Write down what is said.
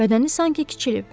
Bədəni sanki kiçilib.